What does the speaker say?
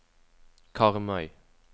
Karmøy